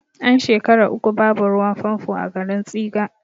An shekara uku babu ruwan fanfo a garin tsiga